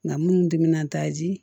Nka minnu timinanta ji